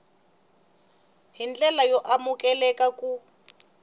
hi ndlela y amukeleka ku